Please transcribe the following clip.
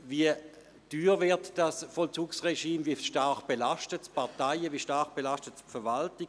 Wie teuer wird dieses Vollzugsregime, wie stark belastet es die Parteien und die Verwaltung?